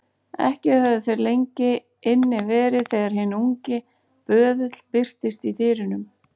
Ekki höfðu þeir lengi inni verið þegar hinn ungi böðull birtist í dyrunum.